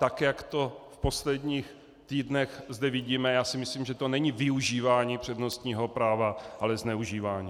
Tak jak to v posledních týdnech zde vidíme, já si myslím, že to není využívání přednostního práva, ale zneužívání.